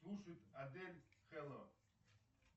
слушать адель хелло